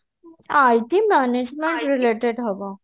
IT management related ହବ